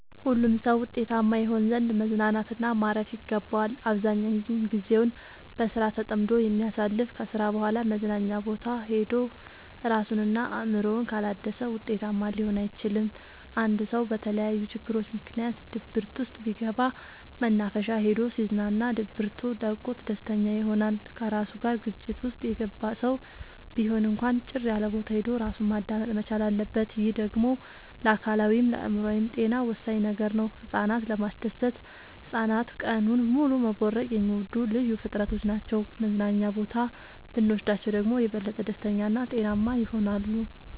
ሁሉም ሰው ውጤታማ ይሆን ዘንድ መዝናናት እና ማረፍ ይገባዋል። አብዛኛውን ግዜውን በስራ ተጠምዶ የሚያሳልፍ ከስራ በኋላ መዝናኛ ቦታ ሄዶ እራሱን እና አእምሮውን ካላደሰ ውጤታማ ሊሆን አይችልም። አንድ ሰው በተለያዩ ችግሮች ምክንያት ድብርት ውስጥ ቢገባ መናፈሻ ሄዶ ሲዝናና ድብቱ ለቆት ደስተኛ ይሆናል። ከራሱ ጋር ግጭት ውስጥ የገባ ሰው ቢሆን እንኳን ጭር ያለቦታ ሄዶ እራሱን ማዳመጥ መቻል አለበት። ይህ ደግሞ ለአካላዊይም ለአእምሮአዊም ጤና ወሳኝ ነገር ነው። ህፃናትን ለማስደሰት ህፃናት ቀኑን ሙሉ መቦረቅ የሚወዱ ልዩ ፍጥረቶች ናቸው መዝናና ቦታ ብኖስዳቸው ደግሞ የበለጠ ደስተኛ እና ጤናማ ይሆናሉ።